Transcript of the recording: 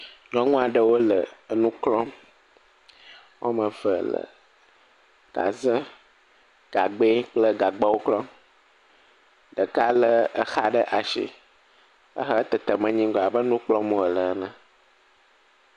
Nyɔnu woame etɔ wole aƒe aɖe me. Ame woame eve, nyɔnua eme eve bɔbɔ. Wodo ɖɔgui le agba ɖewo gbɔ. Wole agba klɔm. Nyɔnua ɖeka le exa ɖe asi hele aƒeame kplɔm.